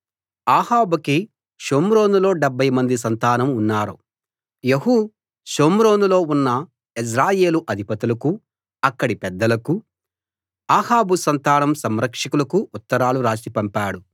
అహాబుకి షోమ్రోనులో డెబ్భై మంది సంతానం ఉన్నారు యెహూ షోమ్రోనులో ఉన్న యెజ్రెయేలు అధిపతులకూ అక్కడి పెద్దలకూ అహాబు సంతానం సంరక్షకులకూ ఉత్తరాలు రాసి పంపాడు